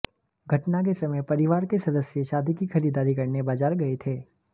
घटना के समय परिवार के सदस्य शादी की खरीदारी करने बाजार गए थे